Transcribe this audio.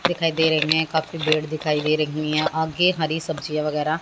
दिखाई दे रही है काफी ब्रेड दिखाई दे रही है। काफी हरी सब्जियां वगैरह--